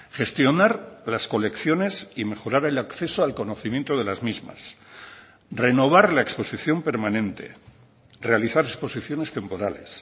gestionar las colecciones y mejorar el acceso al conocimiento de las mismas renovar la exposición permanente realizar exposiciones temporales